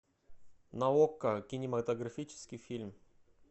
на окко кинематографический фильм